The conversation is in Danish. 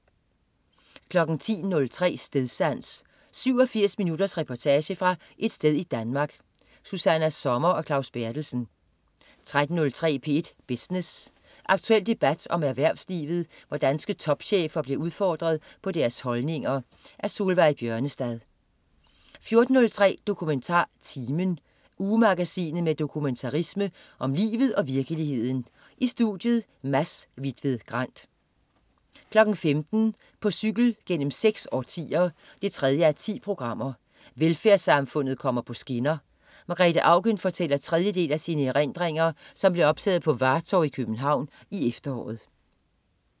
10.03 Stedsans. 87 minutters reportage fra et sted i Danmark. Susanna Sommer og Claus Berthelsen 13.03 P1 Business. Aktuel debat om erhvervslivet, hvor danske topchefer bliver udfordret på deres holdninger. Solveig Bjørnestad 14.03 DokumentarTimen. Ugemagasinet med dokumentarisme om livet og virkeligheden. I studiet: Mads Hvitved Grand 15.00 På cykel gennem seks årtier 3:10. Velfærdssamfundet kommer på skinner. Margrethe Auken fortæller tredje del af sine erindringer, som blev optaget på Vartov i København i efteråret